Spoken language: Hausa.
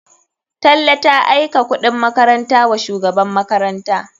Tanle ta aika kuɗin makaranta wa shugaban makaranta.